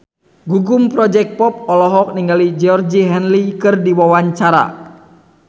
Gugum Project Pop olohok ningali Georgie Henley keur diwawancara